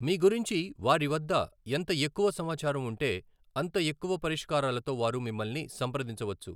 మీ గురించి వారి వద్ద ఎంత ఎక్కువ సమాచారం ఉంటే, అంత ఎక్కువ పరిష్కారాలతో వారు మిమ్మల్ని సంప్రదించవచ్చు.